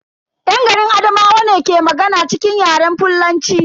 Yan garin Adamawa ne ke magana cikin Yaren fullanci.